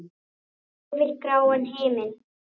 Yfir gráan himin.